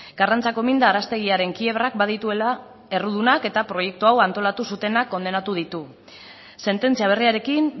karrantzako minda arrastegiaren kiebrak badituela errudunak eta proiektu hau antolatu zutenak kondenatu ditu sententzia berriarekin